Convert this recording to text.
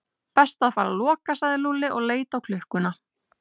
Best að fara að loka sagði Lúlli og leit á klukkuna.